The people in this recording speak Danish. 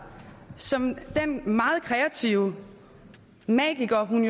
som den meget kreative magiker hun